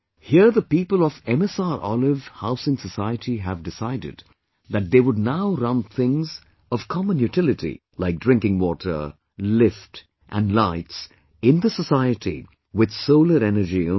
Here the people of MSROlive Housing Society have decided that they would now run things of common utility like drinking water, lift and lights in the society with solar energy only